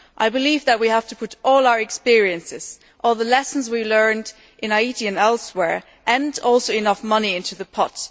I believe that we have to put all our experience, all the lessons we have learnt in Haiti and elsewhere, and also enough money, into the pot.